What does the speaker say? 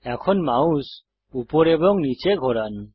এখন মাউস উপরে এবং নীচে ঘোরান